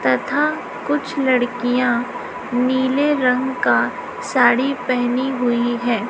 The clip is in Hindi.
तथा कुछ लड़कियां नीले रंग का साड़ी पहनी हुई हैं।